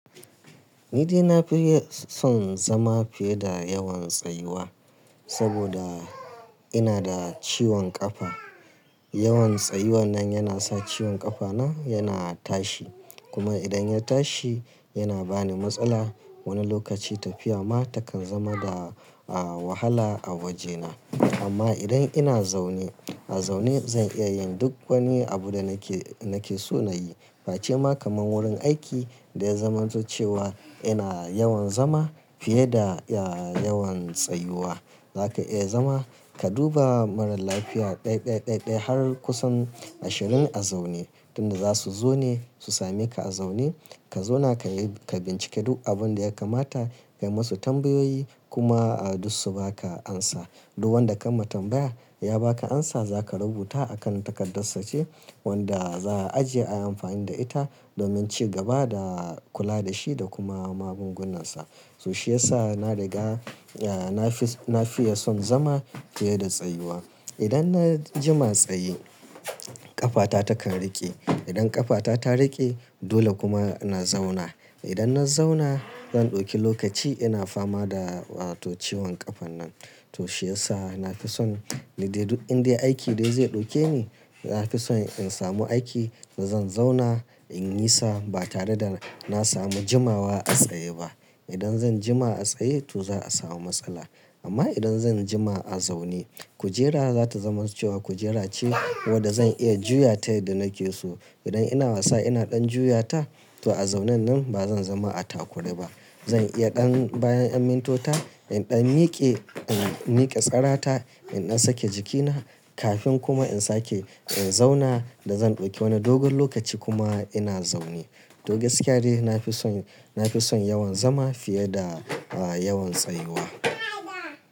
Ni dai na fi son zama fiye da yawan tsayuwa, saboda ina da ciwon ƙafa. Yawan tsayuwa nan yana sa ciwon ƙafana yana tashi, kuma idan ya tashi yana bani matsala. Wani lokaci tafiya ma takan zama da, a, wahala a wajena. Amma idan ina zaune, a zaune zan iya yin duk wani abu da nake, nake so na yi. Ba cema kamar wurin aiki da ya zamanto cewa ina yawan zama fiye da, yawan tsayuwa. Zaka iya zama, ka duba maralafiya ɗaya, ɗaya har kusan ashirin a zaune. Tun za su zo ne su same ka a zaune. Ka zauna ka yi, ka bincike duk abin da ya kamata, ka yi musu tambayoyi kuma, a, duk su ba ka amsa. Duk wanda ka ma tambaya ya ba ka amsa, za ka rubuta a kan takardar sace wanda za a ajiye a yi amfani da ita domin cigaba da kula da shi da kuma magungunansa. To shiyasa na riga, e, na fi son zama fiye da tsayuwa. Idan na jima tsaye, ƙafata takan riƙe. Idan ƙafata ta riƙe dole kuma na zauna. Idan na zauna zan ɗauki lokaci ina fama da, to, ciwon ƙafan nan. To shiyasa na fi son ni dai duk inda aiki dai zai ɗauke ni, na fi son in samu aiki, to zan zauna in yi sa ba tare da na samu jimawa a tsaye ba. Idan zan jima a tsaye, to za a samu matsala. Amma idan zan jima a zaune, kujera za ta zama cewa kujera ce wadda zan iya juya ta yadda nake so. Idan ina wasa ina ɗan juya ta, to a zaunen nan ba zan zama a takure ba. Zan iya ɗan bayan in mintuna, in ɗan miƙe, in miƙe tsarata, in na sake jikina kafin kuma in sake in zauna da zan ɗauki wani dogon lokaci kuma ina zaune. To gaskiya dai na fi son, na fi son yawan zama fiye da, a, yawan tsayuwa.